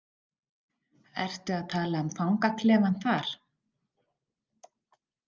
Ertu að tala um fangaklefann þar?